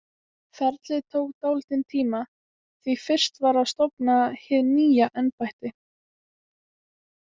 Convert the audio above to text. Ferlið tók dálítinn tíma, því fyrst varð að stofna hið nýja embætti.